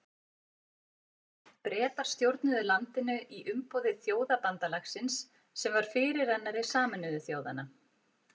Bretar stjórnuðu landinu í umboði Þjóðabandalagsins sem var fyrirrennari Sameinuðu þjóðanna.